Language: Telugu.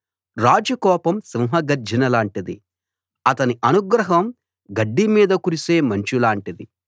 రాజు కోపం సింహగర్జన లాంటిది అతని అనుగ్రహం గడ్డి మీద కురిసే మంచు లాంటిది